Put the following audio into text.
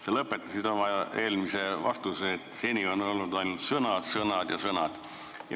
Sa lõpetasid oma eelmise vastuse väites, et seni on olnud ainult sõnad, sõnad ja sõnad.